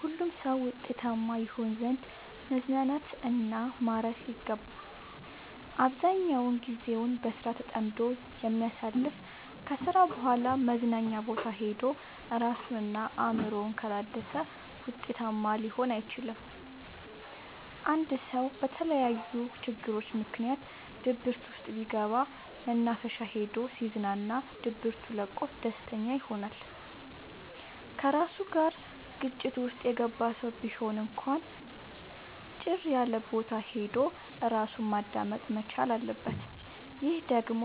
ሁሉም ሰው ውጤታማ ይሆን ዘንድ መዝናናት እና ማረፍ ይገባዋል። አብዛኛውን ግዜውን በስራ ተጠምዶ የሚያሳልፍ ከስራ በኋላ መዝናኛ ቦታ ሄዶ እራሱን እና አእምሮውን ካላደሰ ውጤታማ ሊሆን አይችልም። አንድ ሰው በተለያዩ ችግሮች ምክንያት ድብርት ውስጥ ቢገባ መናፈሻ ሄዶ ሲዝናና ድብቱ ለቆት ደስተኛ ይሆናል። ከራሱ ጋር ግጭት ውስጥ የገባ ሰው ቢሆን እንኳን ጭር ያለቦታ ሄዶ እራሱን ማዳመጥ መቻል አለበት። ይህ ደግሞ